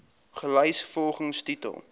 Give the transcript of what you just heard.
gelys volgens titel